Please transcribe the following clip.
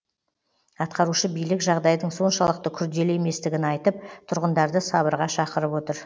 атқарушы билік жағдайдың соншалықты күрделі еместігін айтып тұрғындарды сабырға шақырып отыр